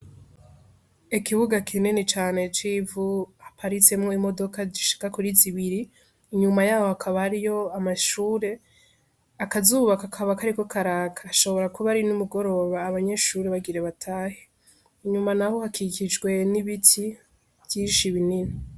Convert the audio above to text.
Ikibuga kinini cane c'ivu haparitsemwo imodoka zishika kuri zibiri inyuma yaho hakaba hariyo amashure akazuba kakaba kariko karaka ashobora kuba ari n' umugoroba abanyeshure bagira batahe inyuma naho hakikijwe n' ibiti vyinshi binini.